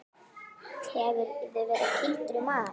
Hefurðu verið kýldur í magann?